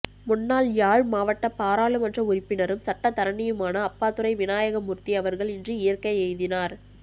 முன்னாள் யாழ்மாவட்ட பாராளுமன்ற உறுப்பினரும் சட்டத்தரணியுமான அப்பாத்துரை வினாயகமூர்த்தி அவர்கள் இன்று இயற்கை எய்தினார்